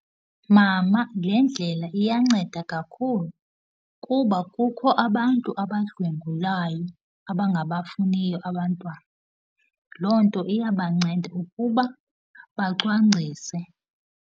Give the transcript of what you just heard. Mama, le ndlela iyanceda kakhulu kuba kukho abantu abadlwengulayo, abangabafuniyo abantwana. Loo nto iyabanceda ukuba bacwangcise.